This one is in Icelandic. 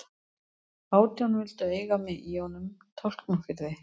Átján vildu eiga mig í honum Tálknafirði.